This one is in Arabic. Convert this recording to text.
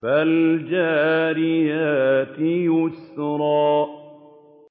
فَالْجَارِيَاتِ يُسْرًا